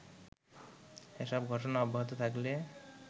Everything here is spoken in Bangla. এসব ঘটনা অব্যাহত থাকলে